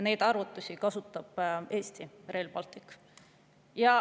Neid kasutab Eesti Rail Baltic.